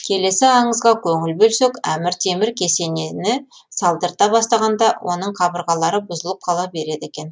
келесі аңызға қөңіл бөлсек әмір темір кесенені салдырта бастағанда оның қабырғалары бұзылып қала береді екен